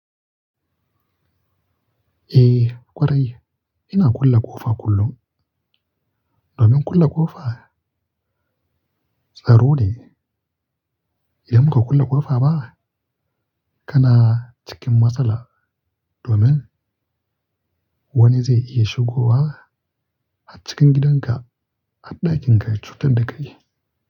Eh ƙwarai, ina kula ƙofa kullum. Domin kula ƙofa tsaro ne. Idan ba ka kule ƙofa ba? Kana cikin matsala domin wani zai iya shigowa a cikin gidanka a ɗakin ka cutar da kai.